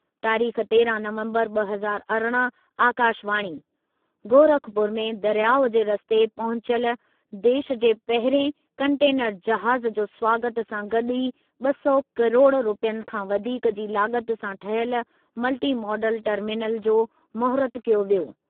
तारीख़ तेरहं नवंबरु ॿ हज़ार अरिड़हं आकाशवाणी, गोरखपुर में दरियाउ जे रस्ते पहुचल देशु जे पहिरिएं कंटेनर जहाज़ु जे स्वागतु सां गॾु ई ॿ सौ किरोड़ रुपयनि खां वधीक जी लाॻति सां ठहियल मल्टी मॉडल टर्मिनल जो महूरतु कयो वियो।